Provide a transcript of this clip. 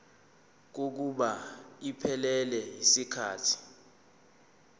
kokuba iphelele yisikhathi